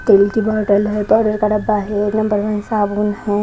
तिल की बॉटल है पाउडर का डब्बा है नंबर वन साबुन है।